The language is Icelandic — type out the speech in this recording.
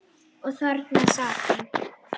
Og þarna sat hann.